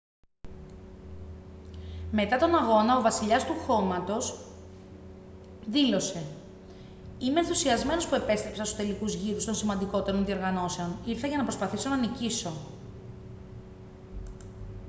μετά τον αγώνα ο «βασιλιάς του χώματος» δήλωσε «είμαι ενθουσιασμένος που επέστρεψα στους τελικούς γύρους των σημαντικότερων διοργανώσεων. ήρθα για να προσπαθήσω να νικήσω»